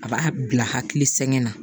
A b'a bila hakili sɛgɛn na